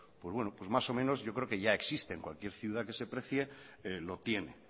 pues más o menos ya existe cualquier ciudad que se precie lo tiene